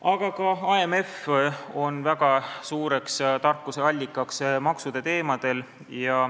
Aga ka IMF on väga suureks tarkuse allikaks maksuteemadel.